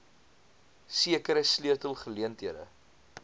sekere sleutel geleenthede